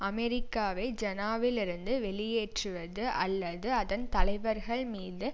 அமெரிக்காவை ஜநாவிலிருந்து வெளியேற்றுவது அல்லது அதன் தலைவர்கள் மீது